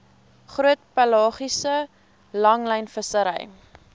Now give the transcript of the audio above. groot pelagiese langlynvissery